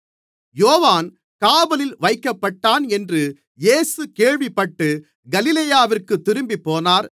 யோவான் காவலில் வைக்கப்பட்டான் என்று இயேசு கேள்விப்பட்டு கலிலேயாவிற்குத் திரும்பிப்போனார்